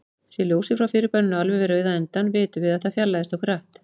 Sé ljósið frá fyrirbærinu alveg við rauða endann, vitum við að það fjarlægist okkur hratt.